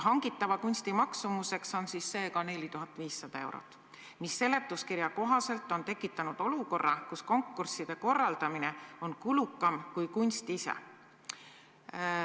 Hangitava kunsti maksumuseks on seega 4500 eurot, mis seletuskirja kohaselt on tekitanud olukorra, kus konkursside korraldamine on kulukam kui kunst ise.